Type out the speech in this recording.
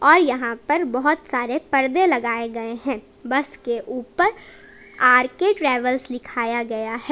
और यहां पर बहोत सारे पर्दे लगाए गए हैं बस के ऊपर आर के ट्रैवल्स दिखाया गया है।